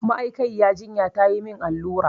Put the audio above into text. Ma'aikayira jinya tayi mun allura